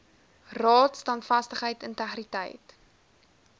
raad standvastigheid integriteit